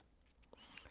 DR K